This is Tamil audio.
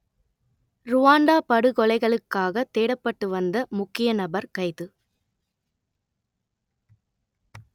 ருவாண்டா படுகொலைகளுக்காகத் தேடப்பட்டு வந்த முக்கிய நபர் கைது